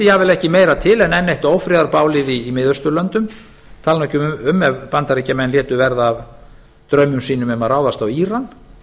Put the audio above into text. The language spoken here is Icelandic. jafnvel ekki meira til en enn eitt ófriðarbálið í miðausturlöndum tali nú ekki um ef bandaríkjamenn létu verða af draumum sínum um að ráðast á íran